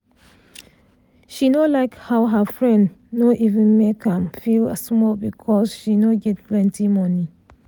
she like how her friend no even make am feel small because she no get plenty money